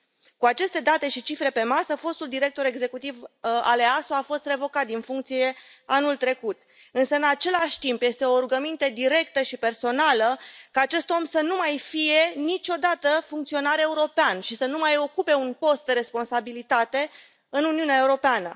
Cu aceste date și cifre pe masă, fostul director executiv al EASO a fost revocat din funcție anul trecut, însă, în același timp, este o rugăminte directă și personală, ca acest om să nu mai fie niciodată funcționar european și să nu mai ocupe un post de responsabilitate în Uniunea Europeană.